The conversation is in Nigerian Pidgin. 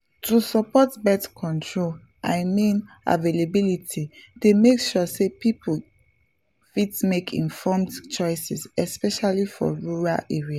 to support birth control i mean availability dey make sure say people fit make informed choices especially for rural areas